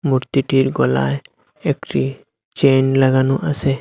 মূর্তিটির গলায় একটি চেন লাগানো আসে ।